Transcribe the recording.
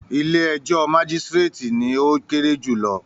“ilé-ẹjọ́ majisireti” ni ó kéré jùlọ.